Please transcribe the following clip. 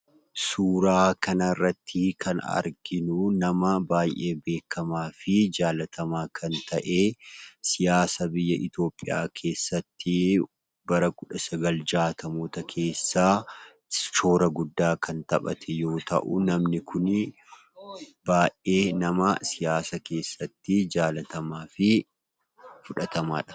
Suuraa kanarrattii kan arginuu nama baay'ee beekkamaa fi jaalatamaa kan ta'ee siyaasa biyya Itoophiyaa keessattii bara kudha sagal jaatamoota keessaa shoora guddaa kan taphate yoo ta'uu namni kunii baay'ee nama siyaasa keessatti jaalatamaa fi fudhatamaadha.